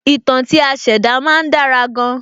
Ìtàn tí a ṣẹ̀dá má ń dára gan-an